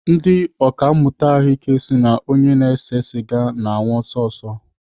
Ndị ọkàmmụta ahụike si na onye na-ese sịga na-anwụ ọsịsọ.